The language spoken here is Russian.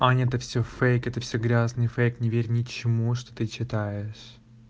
аня это всё фейк это всё грязный фейк не верь ничему что ты читаешь